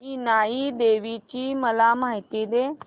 इनाई देवीची मला माहिती दे